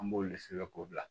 An b'olu sɛbɛn k'o bila